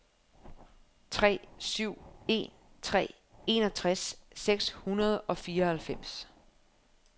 tre syv en tre enogtres seks hundrede og fireoghalvfems